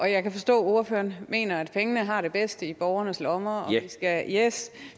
jeg kan forstå at ordføreren mener at pengene har det bedst i borgernes lommer og at